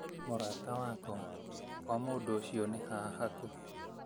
Mũrata wakwa, kwa mũndũ ũcio nĩ haha hakuhĩ